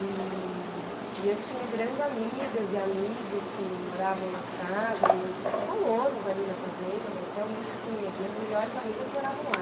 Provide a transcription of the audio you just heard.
E e eu tinha grandes amigas e amigos que moravam nas casas, os os colonos ali na fazenda, mas realmente assim, as minhas melhores amigas moravam lá.